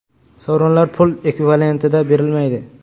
Sovrinlar pul ekvivalentida berilmaydi.